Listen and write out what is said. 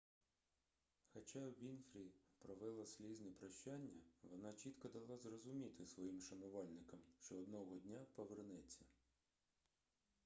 хоча вінфрі провела слізне прощання вона чітко дала зрозуміти своїм шанувальникам що одного дня повернеться